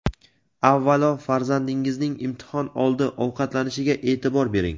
Avvalo, farzandingizning imtihon oldi ovqatlanishiga e’tibor bering.